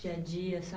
Dia a dia, sa